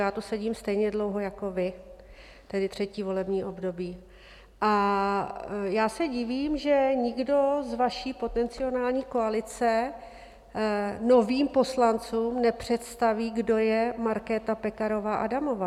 Já tu sedím stejně dlouho jako vy, tedy třetí volební období, a já se divím, že nikdo z vaší potenciální koalice novým poslancům nepředstaví, kdo je Markéta Pekarová Adamová.